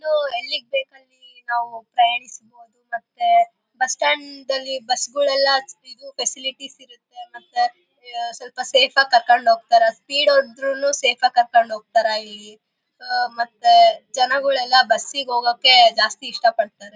ಇದು ಹಳ್ಳಿಗೆ ಬೇಕಾಗಿ ನಾವು ಪ್ರಯಾಣಿಸಬಹುದು ಮತ್ತೆ ಬಸ್ಸ್ಟ್ಯಾಂಡ್ ಅಲ್ಲಿ ಬಸ್ಸ್ಗಳೆಲ್ಲ ಇದು ಫ್ಯಾಸಿಲಿಟೀಸ್ ಇರುತ್ತೆ ಮತ್ತೆ ಸ್ವಲ್ಪ ಸೇಫ್ ಆಗಿ ಕರ್ಕೊಂಡ್ ಹೋಗ್ತಾರೆ. ಸ್ಪೀಡ್ ಹೋದ್ರೂನು ಸೇಫ್ ಆಗಿ ಕರ್ಕೊಂಡ್ ಹೋಗ್ತಾರೆ ಇಲ್ಲಿ ಮತ್ತೆ ಜನಗಳೆಲ್ಲ ಬುಸ್ಸಿಗ್ ಹೋಗೋಕೆ ಜಾಸ್ತಿ ಇಷ್ಟ ಪಡ್ತಾರೆ .